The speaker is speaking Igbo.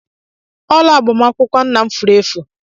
Ọla agbamakwụkwọ nna m furu efu.